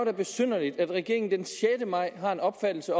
er besynderligt at regeringen den sjette maj har den opfattelse